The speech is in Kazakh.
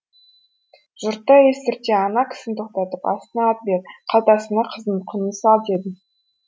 жұртқа естірте ана кісіні тоқтатып астына ат бер қалтасына қыздың құнын сал деді